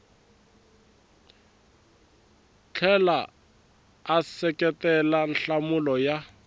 tlhela a seketela nhlamulo ya